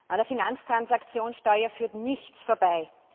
An der Finanztransaktionssteuer führt nichts vorbei.